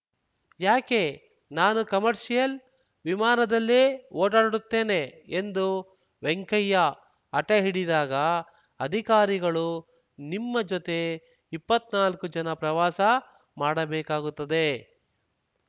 ಯಾಕೆ ನಾನು ಕಮರ್ಷಿಯಲ್ ವಿಮಾನದಲ್ಲೇ ಓಡಾಡುತ್ತೇನೆ ಎಂದು ವೆಂಕಯ್ಯ ಹಟ ಹಿಡಿದಾಗ ಅಧಿಕಾರಿಗಳು ನಿಮ್ಮ ಜೊತೆ ಇಪ್ಪತ್ನಾಲ್ಕು ಜನ ಪ್ರವಾಸ ಮಾಡಬೇಕಾಗುತ್ತದೆ